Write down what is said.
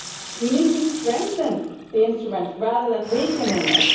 We need to strengthen the instrument rather than weaken it.